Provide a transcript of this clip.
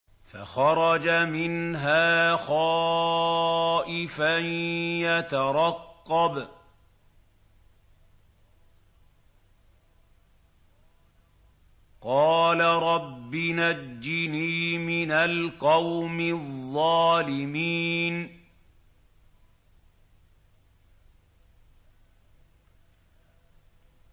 فَخَرَجَ مِنْهَا خَائِفًا يَتَرَقَّبُ ۖ قَالَ رَبِّ نَجِّنِي مِنَ الْقَوْمِ الظَّالِمِينَ